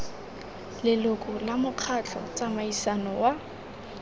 leloko la mokgatlho tsamaiso wa